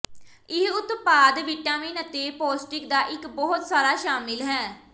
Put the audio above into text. ਇਹ ਉਤਪਾਦ ਵਿਟਾਮਿਨ ਅਤੇ ਪੌਸ਼ਟਿਕ ਦਾ ਇੱਕ ਬਹੁਤ ਸਾਰਾ ਸ਼ਾਮਿਲ ਹੈ